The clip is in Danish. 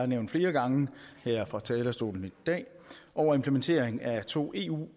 nævnt flere gange her fra talerstolen i dag over implementering at to eu